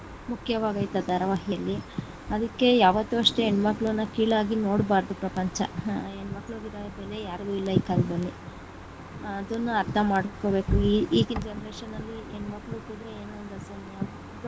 ಮುಖ್ಯವಾಗೈತೆ ಆ ಧಾರ್ವಾಹಿಯಲ್ಲಿ ಅದಿಕ್ಕೆ ಯಾವತ್ತೂ ಅಷ್ಟೆ ಹೆಣ್ಣಮಕ್ಕಳನ್ನ ಕೀಳಾಗಿ ನೋಡಬಾರದು ಪ್ರಪಂಚ ಹ ಹೆಣ್ಣಮಕ್ಕಳು ಇರುವಂತ ಬೆಲೆ ಯಾರಿಗೂ ಇಲ್ಲ ಈ ಕಾಲದಲ್ಲಿ ಅದುನ್ನ ಅರ್ಥ ಮಾಡ್ಕೊಬೇಕು ಈ ಈಗಿನ generation ಅಲ್ಲಿ ಹೆಣ್ ಮಕ್ಳು ಹುಟ್ಟಿದರೆ ಏನೋ ಒಂದು .